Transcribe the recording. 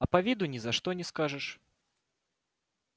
а по виду ни за что не скажешь